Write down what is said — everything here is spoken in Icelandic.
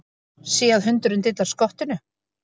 Sé að hundurinn dillar skottinu.